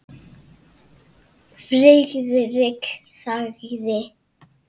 Friðrik þagði.